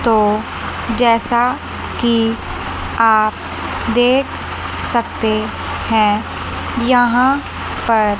तो जैसा कि आप देख सकते है यहां पर--